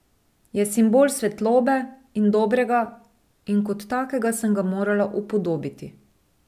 Je simbol svetlobe in dobrega in kot takega sem ga morala upodobiti.